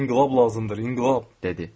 İnqilab lazımdır, inqilab, dedi.